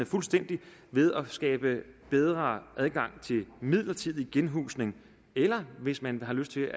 fuldstændigt ved at skabes bedre adgang til midlertidig genhusning eller hvis man har lyst til